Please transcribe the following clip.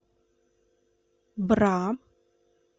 бра